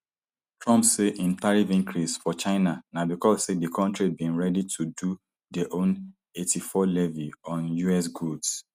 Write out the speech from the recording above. trump say im tariff increase for china na becos say di kontri bin ready to do dia own eighty-four levy on us goods